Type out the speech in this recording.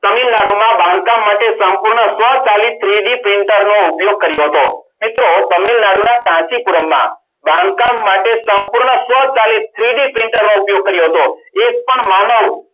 બાંધકામ માટે સંપૂર્ણ સ્વસહિત ઉપયોગ કર્યો હતો મિત્રો તમે કાંચીપુરણમાં બાંધકામ માટે સંપૂર્ણ સ્વકાર્યે three D printing નો ઉપયોગ કર્યો હતો એક પણ માનવ